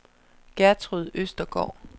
Gertrud Østergaard